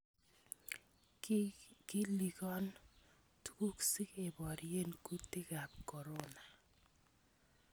KikIikon tukuuk si keboryeen kutikaab corona